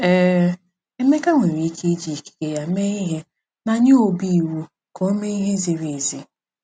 Ee, Emeka nwere ike iji ikike ya mee ihe ma nye Obi iwu ka o mee ihe ziri ezi.